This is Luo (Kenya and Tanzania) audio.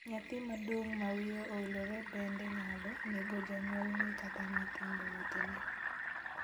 Nyathi maduong' ma wiye owilore bende nyalo nego janyuolne kata nyithindo wetene.